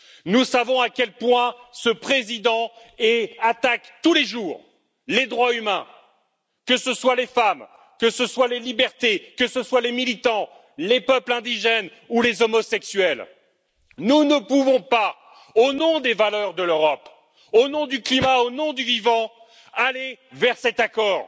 Nous savons à quel point ce président attaque tous les jours les droits humains, qu'il s'agisse des femmes, des libertés des militants, des peuples indigènes ou des homosexuels. Nous ne pouvons pas, au nom des valeurs de l'Europe, au nom du climat, au nom du vivant, aller vers cet accord.